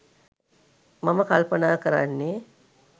මම කල්පනා කරන්නේ.